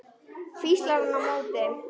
hvíslar hann á móti.